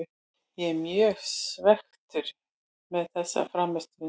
Ég er mjög svekktur með þessa frammistöðu.